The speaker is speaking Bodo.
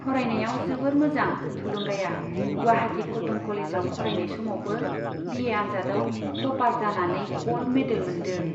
फरायनायाव जोबोद मोजां थुलुंगाया गुवाहाटि कट'न कलेजाव फरायनाय समावबो बि ए आन्जादआव टपार जानानै गल्ड मेडेल मोनदों।